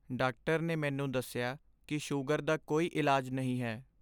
Doctor ਨੇ ਮੈਨੂੰ ਦੱਸਿਆ ਕਿ ਸ਼ੂਗਰ ਦਾ ਕੋਈ ਇਲਾਜ ਨਹੀਂ ਹੈ।